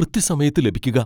കൃത്യസമയത്ത് ലഭിക്കുക?